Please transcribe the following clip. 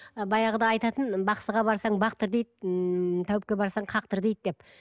і баяғыда айтатын бақсыға барсаң ба бақтыр дейді ііі тәуіпке барсаң қақтыр дейді деп